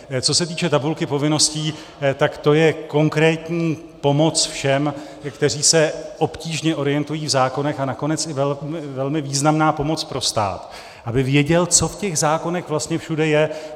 Co se týče tabulky povinností, tak to je konkrétní pomoc všem, kteří se obtížně orientují v zákonech, a nakonec i velmi významná pomoc pro stát, aby věděl, co v těch zákonech vlastně všude je.